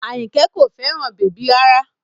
Àyìnkẹ́ kò fẹ́ràn bèbí rárá